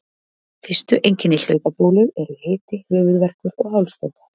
Fyrstu einkenni hlaupabólu eru hiti, höfuðverkur og hálsbólga.